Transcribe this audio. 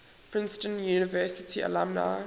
princeton university alumni